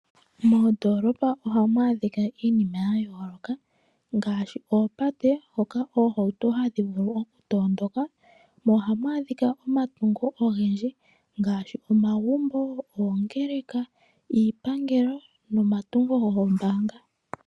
Moondoolopa ohamu adhika iinima ya yooloka ngaashi oopate hoka oohauto hadhi vulu oku matuka, mo ohamu adhika omatungo ogendji ngaashi omagumbo, oongeleka, iipangelo nomatungo goombaanga.